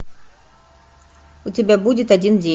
у тебя будет один день